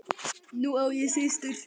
Nú á ég systur.